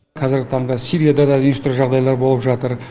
қазіргі таңда сирияда да неше түрлі жағдайлар болып жатыр